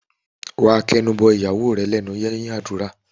Wà á kẹnu bọ ìyàwó rẹ lẹ́nu lẹ́yìn àdúrà.